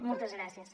moltes gràcies